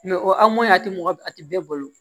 o anw a tɛ mɔgɔ a tɛ bɛɛ bolo